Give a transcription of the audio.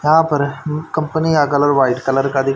यहां पर कंपनी का कलर वाइट कलर का दिख--